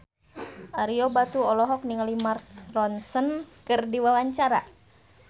Ario Batu olohok ningali Mark Ronson keur diwawancara